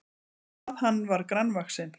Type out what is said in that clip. En hvað hann var grannvaxinn!